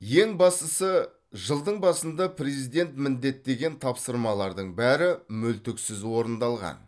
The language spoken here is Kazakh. ең бастысы жылдың басында президент міндеттеген тапсырмалардың бәрі мүлтіксіз орындалған